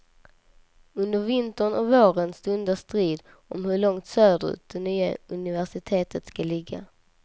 Under vintern och våren stundar strid om hur långt söderut det nya universitetet ska ligga.